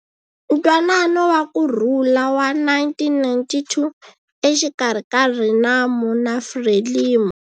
Ntwanano wa ku Rhula wa 1992 exikarhi ka RENAMO na FRELIMO.